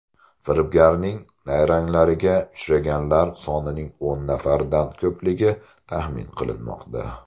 Firibgarning nayranglariga uchganlar sonining o‘n nafardan ko‘pligi taxmin qilinmoqda.